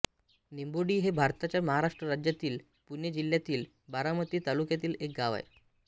निंबोडी हे भारताच्या महाराष्ट्र राज्यातील पुणे जिल्ह्यातील बारामती तालुक्यातील एक गाव आहे